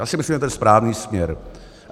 Já si myslím, že to je správný směr.